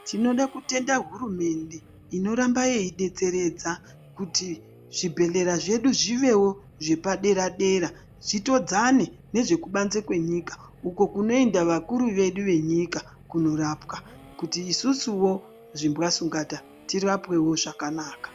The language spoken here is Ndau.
Tinoda kutenda hurumende inoramba yei betseredza kuti zvibhedhlera zvedu zvivewo zvepadera dera, zvitodzane nezvekubanze kwenyika uko kunoenda vakuru vedu venyika kunorapwa kuti isusuwo, zvimbwasungata ,tirapwewo zvakanaka.